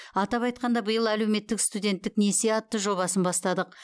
атап айтқанда биыл әлеуметтік студенттік несие атты жобасын бастадық